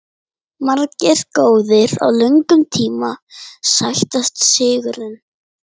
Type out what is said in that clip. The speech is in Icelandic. Margir góðir á löngum tíma Sætasti sigurinn?